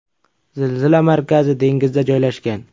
Zilzila markazi dengizda joylashgan.